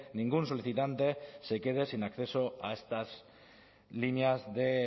ningún solicitante se quede sin acceso a estas líneas de